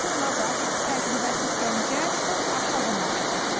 Onlar da təcrübəsiz gəncə çox aşağı maaş təklif edirlər.